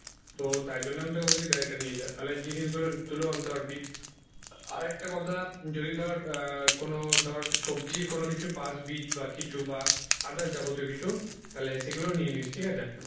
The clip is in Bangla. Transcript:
তো তাই জন্য আমি তোকে বলছি গাড়িটা নিয়ে যা তাহলে জিনিস গুলো তুলেও আনতে পারবি আর একটা কথা যদি ধর আহ কোনো ধর সবজির কোনো কিছু পাস বীজ বা কিছু বা others যাবতীয় কিছু তাহলে সেগুলোও নিয়ে নিস ঠিক আছে।